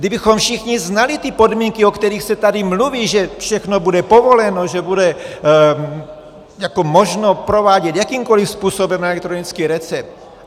Kdybychom všichni znali ty podmínky, o kterých se tady mluví, že všechno bude povoleno, že bude možno provádět jakýmkoli způsobem elektronický recept...